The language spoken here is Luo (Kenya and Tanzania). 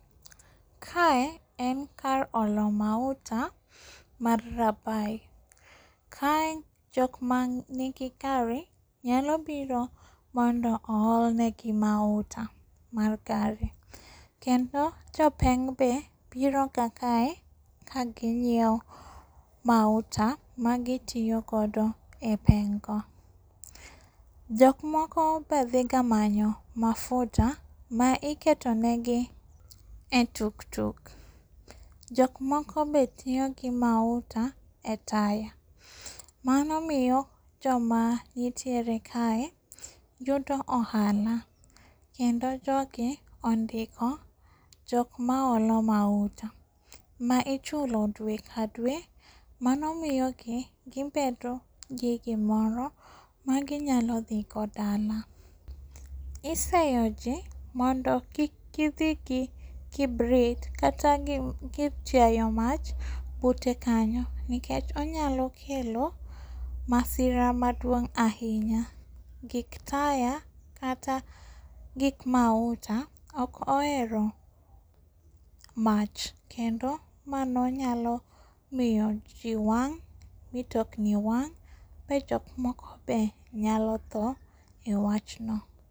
Kae en kar olo mauta mar Rabai. Kae jok manigi gari nyalo biro mondo oolnegi mauta mar gari. Kendo jopeng' be biroga kae kagi nyiewo mauta magi tiyo godo epeng'go. Jok moko be dhi ga manyo mafuta ma iketonegi etuktuk. jok moko be tiyogi mauta e taya. Mano miyo joma nitiere kaye yudo ohala. Kendo jogi ondiko jok maolo mauta ma ichulo dwe ka dwe mano miyogi gibedo gigimoro magi nyalo dhigo dala. Iseyoji mondo kik gi dhi gi kibrit kata gir tiayo mach bute kanyo nikech onyalo kelo masira maduong' ahinya. Gig taya kata gik mauta ok ohero mach kendo mano nyalo miyoji wang', mitokni wang' majok moko be nyalo thoo ewachno.